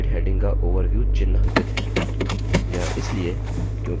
ध्यान दें कि slide heading का overview चिन्हांकित है